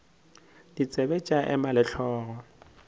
ditsebe tša ema le hlogo